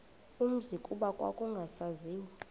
umzi kuba kwakungasaziwa